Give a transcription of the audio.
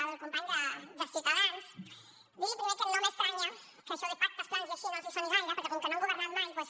al company de ciutadans dir li primer que no m’estranya que això de pactes plans i així no els soni gaire perquè com que no han governat mai doncs